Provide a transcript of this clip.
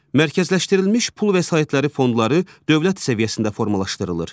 Mərkəzləşdirilmiş pul vəsaitləri fondları dövlət səviyyəsində formalaşdırılır.